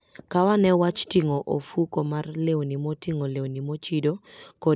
Kaw ane wach ting'o ofuko mar lewni moting'o lewni mochido kod gik mamoko madwarore sama in e wuoth.